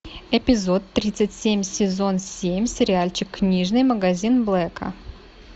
эпизод тридцать семь сезон семь сериальчик книжный магазин блэка